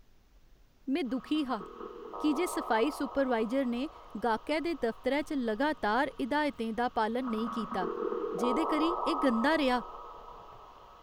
में दुखी हा की जे सफाई सुपरवाइजर ने गाह्कै दे दफतरै च लगातार हिदायतें दा पालन नेईं कीता जेह्दे करी एह् गंदा रेहा।